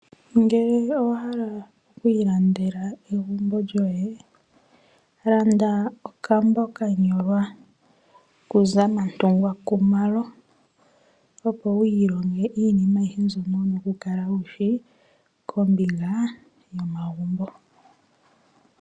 Ngele owa hala oku ilandela egumbo lyoye landa okambo kanyolwa kuzamantungwa Khumalo opo wu ilonge iinima ayihe mbyoka wushi kombinga momagumbo.